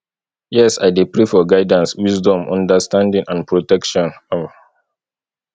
yes i dey pray for guidance wisdom understanding and protection um